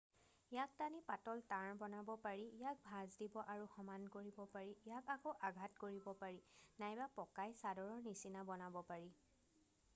ইয়াক টানি পাতল তাঁৰ বনাব পাৰি যাক ভাঁজ দিব আৰু সমান কৰিব পাৰি ইয়াক আকৌ আঘাত কৰিব পাৰি নাইবা পকাই চাদৰৰ নিচিনা বনাব পাৰি